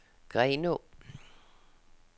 Grenaa